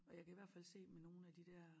Og jeg kan i hvert fald se med nogen af de dér